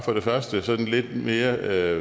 sådan lidt mere